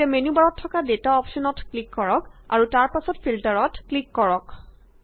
এতিয়া মেন্যু বাৰত থকা ডেটা অপশ্যনত ক্লিক কৰক আৰু তাৰ পাছত ফিল্টাৰত ক্লিক কৰক